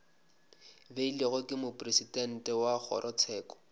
beilwego ke mopresidente wa kgorotsheko